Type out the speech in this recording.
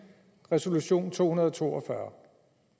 resolution 242